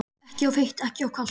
Ekki of heitt og ekki of kalt?